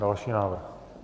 Další návrh.